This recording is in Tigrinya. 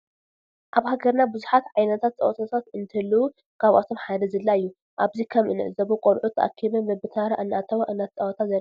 አብ ሃገርና ብዝሓት ዓይነታት ፀወታታት እንህልው ካብአቶም ሓደ ዝላ አዩ ።አብዚ ከም እንዖዞቦ ቆልዑ ተአኪበን በብታራ እናተዋ እናተፃወታ ዘርኢ እዩ።